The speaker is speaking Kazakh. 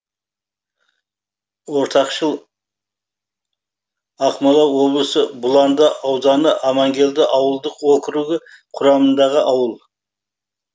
ортақшыл ақмола облысы бұланды ауданы амангелді ауылдық округі құрамындағы ауыл